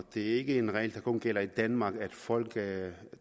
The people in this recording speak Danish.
det er ikke en regel der kun gælder i danmark at folk